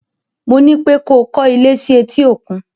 Mo ní pé ko kọ́ ilé sí etí-òkun!